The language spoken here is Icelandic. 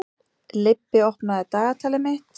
Leibbi, opnaðu dagatalið mitt.